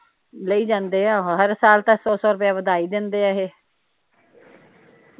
ਲਈ ਜਾਂਦੇ ਆ ਹਰ ਸਾਲ ਤਾ ਸੌ ਸੌ ਰੁਪਇਆ ਵਧਾਈ ਜਾਂਦੇ ਆ ਇਹ